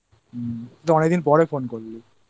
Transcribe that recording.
তুই তো অনেকদিন পরে Phone করলিI